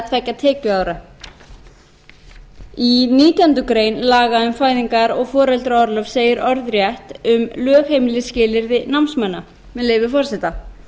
tveggja tekjuára í nítjánda grein laga um fæðingar og foreldraorlof segir orðrétt um lögheimilisskilyrði námsmanna með leyfi forseta